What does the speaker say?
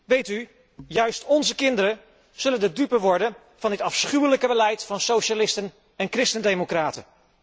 Weet u, juist onze kinderen zullen de dupe worden van dit afschuwelijke beleid van socialisten en christendemocraten.